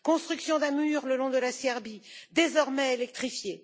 construction d'un mur le long de la Serbie désormais électrifié